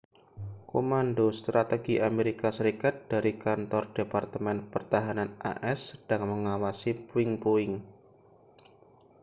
komando strategi amerika serikat dari kantor departemen pertahanan as sedang mengawasi puing-puing